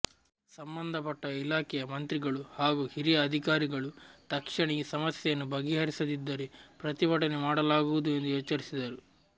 ಸಂಬಂಧಪಟ್ಟ ಇಲಾಖೆಯ ಮಂತ್ರಿಗಳು ಹಾಗೂ ಹಿರಿಯ ಅಧಿಕಾರಿಗಳು ತಕ್ಷಣ ಈ ಸಮಸ್ಯೆಯನ್ನು ಬಗೆಹರಿಸದಿದ್ದರೆ ಪ್ರತಿಭಟನೆ ಮಾಡಲಾಗುವುದು ಎಂದು ಎಚ್ಚರಿಸಿದರು